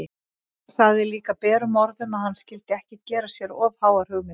Hún sagði líka berum orðum að hann skyldi ekki gera sér of háar hugmyndir!